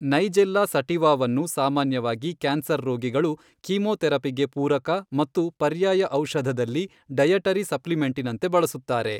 ನೈಜೆಲ್ಲಾ ಸಟಿವಾವನ್ನು ಸಾಮಾನ್ಯವಾಗಿ ಕ್ಯಾನ್ಸರ್ ರೋಗಿಗಳು ಕೀಮೋಥೆರಪಿಗೆ ಪೂರಕ ಮತ್ತು ಪರ್ಯಾಯ ಔಷಧದಲ್ಲಿ ಡಯಟರಿ ಸಪ್ಲಿಮೆಂಟಿನಂತೆ ಬಳಸುತ್ತಾರೆ.